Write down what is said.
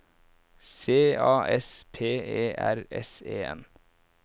C A S P E R S E N